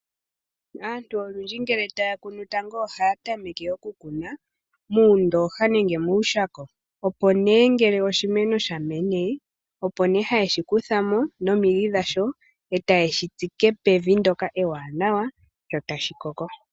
Aantu olwindji ngele taya kunu tango ohaya tameke okukuna, muundooha nenge muushako. Opo nee ngele oshimeno shamene, opo nee hayeshi kuthamo nomidhi dhasho, ee tayeshi tsike pevi ndoka ewaanawa, sho tashi koko.